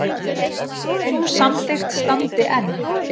Sú samþykkt standi enn.